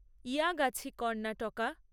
Yagachi Karnataka